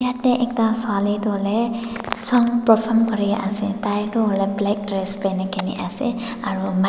yatae ekta swali tu hoilae song perform kuriase tai tu hoilae black dress pinikae na ase aro mi--